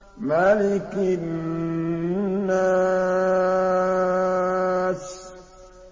مَلِكِ النَّاسِ